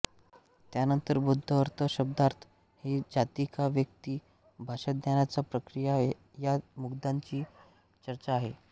त्यानंतर बौद्ध अर्थ शब्दार्थ ही जाती का व्यक्ती भाषाज्ञानाची प्रक्रिया या मुद्द्यांची चर्चा आहे